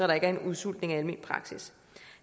der ikke er en udsultning af almen praksis